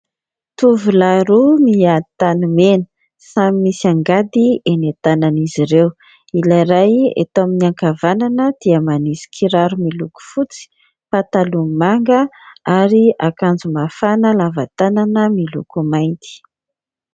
Tovolahy roa mihady tanimena, samy misy angady eny an-tanan'izy ireo. Ilay ray eto amin'ny ankavanana dia manisy kiraro miloko fotsy, pataloha manga ary akanjo mafana lava tanana miloko mainty.